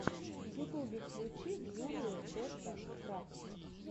в ютубе включи джулию дэтта крафтс